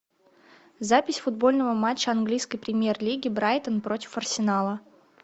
запись футбольного матча английской премьер лиги брайтон против арсенала